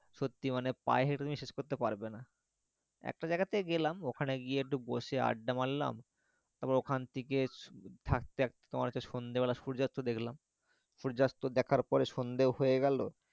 সত্যি মানে পায়ে হেঁটে তুমি শেষ করতে পারবে না একটা জায়গা তে গেলাম ওখানে গিয়ে একটু বসে আড্ডা মারলাম তারপর ওখান থেকে হাঁটতে হাঁটতে তোমার হছে সন্ধ্যে বেলা সূর্যাস্ত দেখলাম সূর্যাস্ত দেখার পর সন্ধ্যেও হয়ে গেল,